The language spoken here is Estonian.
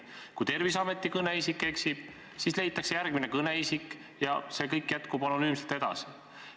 Kui Terviseameti kõneisik eksib, siis leitakse järgmine kõneisik ja kõik jätkub anonüümselt edasi.